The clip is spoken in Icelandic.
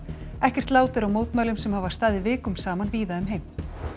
ekkert lát er á mótmælum sem hafa staðið vikum saman víða um heim